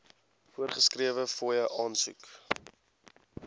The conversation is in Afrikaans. voorgeskrewe fooie aansoek